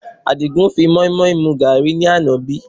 Àdìgún fi moimoi mu gàárì ní àná bí?